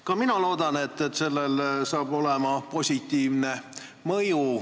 Ka mina loodan, et sellel on positiivne mõju.